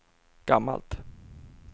gammalt